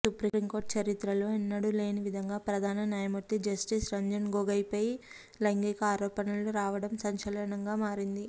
supreme court చరిత్రలో ఎన్నడూ లేనివిధంగా ప్రధాన న్యాయమూర్తి జస్టిస్ రంజన్ గొగొయ్పై లైంగిక ఆరోపణలు రావడం సంచలనంగా మారింది